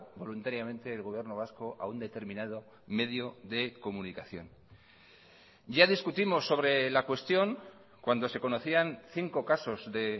voluntariamente el gobierno vasco a un determinado medio de comunicación ya discutimos sobre la cuestión cuando se conocían cinco casos de